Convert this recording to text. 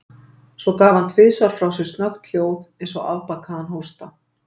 Svo gaf hann tvisvar frá sér snöggt hljóð, eins og afbakaðan hósta.